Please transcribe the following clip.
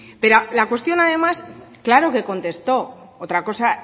pero la cuestión además claro que contestó otra cosa